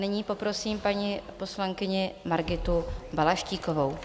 Nyní poprosím paní poslankyni Margitu Balaštíkovou.